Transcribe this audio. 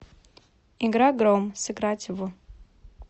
игра гром сыграть в